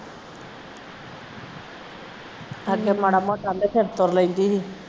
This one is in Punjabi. ਅੱਗੇ ਮਾੜਾ ਮੋਟਾ ਕਹਿੰਦੇ ਫਿਰ ਤੁਰ ਲੈਂਦੀ ਸੀ